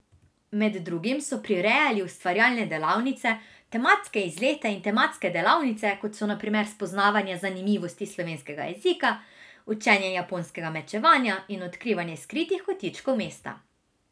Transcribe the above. Med drugim so prirejali ustvarjalne delavnice, tematske izlete in tematske delavnice, kot so na primer spoznavanje zanimivosti slovenskega jezika, učenje japonskega mečevanja in odkrivanje skritih kotičkov mesta.